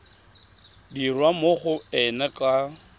dirwa mo go ena ka